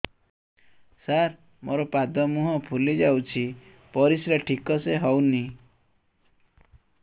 ସାର ମୋରୋ ପାଦ ମୁହଁ ଫୁଲିଯାଉଛି ପରିଶ୍ରା ଠିକ ସେ ହଉନି